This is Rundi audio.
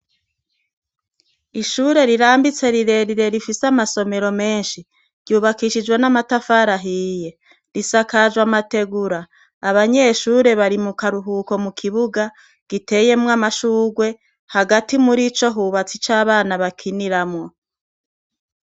Ishure rirambitse rirerire rifise amasomero menshi, ry'ubakishijwe n'amatafari ahiye, risakajwe amategura, abanyeshure bari mukaruhuko mukibuga giteyemwo amashurwe, hagati murico hubatse ico abana bakiniramwo.